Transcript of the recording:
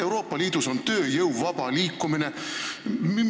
Euroopa Liidus on tööjõu vaba liikumine.